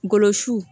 Golo su